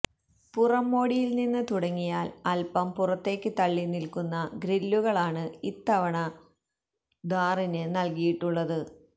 പുറം മോടിയില് നിന്ന് തുടങ്ങിയാല് അല്പ്പം പുറത്തേക്ക് തള്ളി നില്ക്കുന്ന ഗ്രില്ലുകളാണ് ഇത്തവണ ഥാറില് നല്കിയിട്ടുള്ളത്